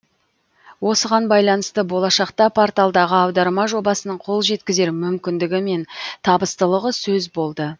осыған байланысты болашақта порталдағы аударма жобасының қол жеткізер мүмкіндігі мен табыстылығы сөз болды